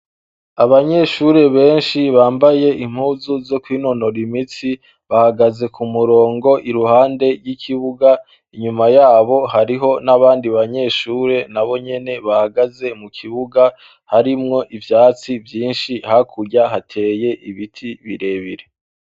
Abanyeshure benshi bambaye impuzu zo kw inonora imitsi bahagaze ku murongo iruhande ry'ikibuga inyuma yabo hariho n'abandi banyeshure na bo nyene bahagaze mu kibuga harimwo ivyatsi vyinshi hakurya hateye ibiti birebire.